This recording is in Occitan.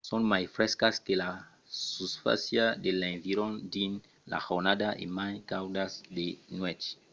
son mai frescas que la susfàcia de l'environa dins la jornada e mai caudas de nuèch